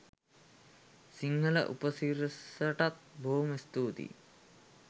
සිංහල උපසිරසටත් බොහොම ස්තුතියි!